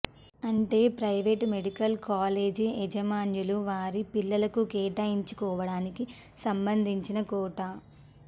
అంటే private medical college యాజమాన్యాలు వారి పిల్లలకు కేటాయించుకోవడానికి సంబంధించిన కోటా